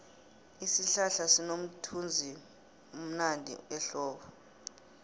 isihlahla sinomthunzivmnandi ehlobo